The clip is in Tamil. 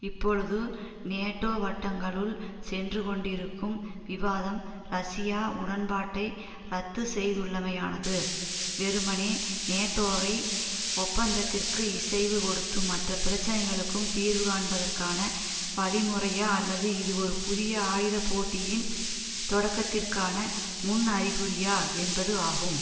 இப்பொழுது நேட்டோ வட்டங்களுள் சென்று கொண்டிருக்கும் விவாதம் ரஷ்யா உடன்பாட்டை இரத்து செய்துள்ளமையானது வெறுமனே நேட்டோவை ஒப்பந்தத்திற்கு இசைவு கொடுத்து மற்ற பிரச்சினைகளுக்கும் தீர்வு காண்பதற்கான வழிமுறையா அல்லது இது ஒரு புதிய ஆயுத போட்டியின் தொடக்கத்திற்கான முன்அறிகுறியா என்பது ஆகும்